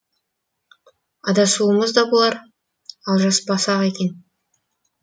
адасуымыз да болар алжаспасақ екен